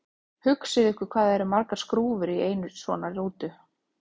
Hugsið ykkur hvað það eru margar skrúfur í einni svona rútu!